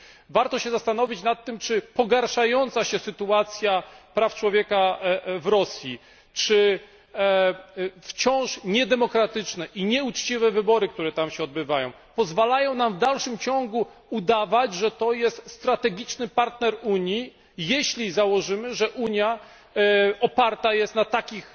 Warto się zastanowić nad tym, czy pogarszająca się sytuacja praw człowieka w Rosji, czy wciąż niedemokratyczne i nieuczciwe wybory, które się tam odbywają, pozwalają nam w dalszym ciągu udawać, że jest ona strategicznym partnerem Unii, jeśli założymy, że Unia oparta jest na takich